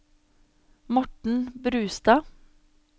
Morten Brustad